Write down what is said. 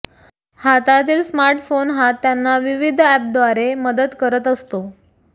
हातातील smart phone हा त्यांना विविध अपद्वारे मदत करत असतो